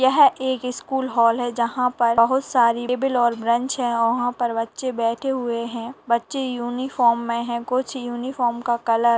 यह एक school hall है जहाँ पर बहुत सारी टेबुल और बेंच हैं और वहाँ पर बच्चे बैठे हुए हैं बच्चे युनिफोर्म में है कुछ युनिफोर्म का कलर --